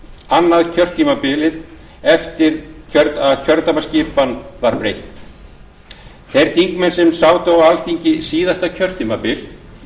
annað kjörtímabilið eftir að kjördæmaskipan var breytt þeir þingmenn sem sátu á alþingi síðasta kjörtímabil